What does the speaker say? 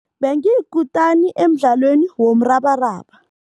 Bengiyikutani emdlalweni womrabaraba.